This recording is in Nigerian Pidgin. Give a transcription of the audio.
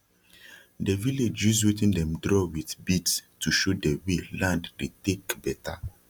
de village use wetin dem draw with beads to show de way land dey tak beta